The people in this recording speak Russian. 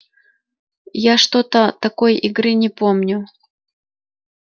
я что-то такой игры не помню